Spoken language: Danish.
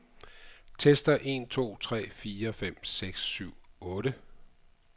Tester en to tre fire fem seks syv otte.